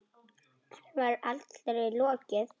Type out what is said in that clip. Henni var allri lokið.